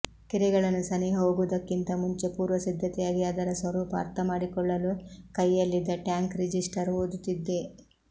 ಕೆರೆಗಳನ್ನು ಸನಿಹ ಹೋಗುವುದಕ್ಕಿಂತ ಮುಂಚೆ ಪೂರ್ವಸಿದ್ಧತೆಯಾಗಿ ಅದರ ಸ್ವರೂಪ ಅರ್ಥಮಾಡಿಕೊಳ್ಳಲು ಕೈಯಲ್ಲಿದ್ದ ಟ್ಯಾಂಕ್ ರಿಜಿಸ್ಟರ್ ಓದುತ್ತಿದ್ದೆ